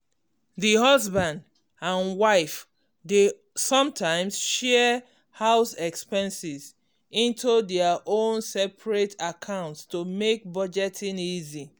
the husband and wife dey sometimes share house expenses into their own separate accounts to make budgeting easy